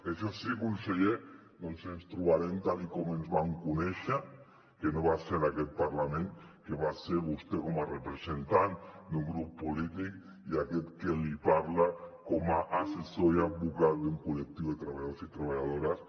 això sí conseller ens trobarem tal com ens vam conèixer que no va ser en aquest parlament que va ser vostè com a representant d’un grup polític i aquest que li parla com a assessor i advocat d’un col·lectiu de treballadors i treballadores